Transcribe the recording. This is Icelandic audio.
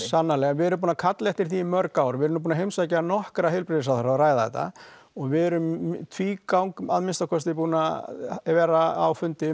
við erum búin að kalla eftir því í mörg ár við erum nú búin að heimsækja nokkra heilbrigðisráðherra og ræða þetta og við erum í tvígang að minnsta kosti búin að vera á fundi